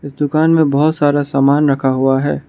इस दुकान में बहोत सारा समान रखा हुआ है।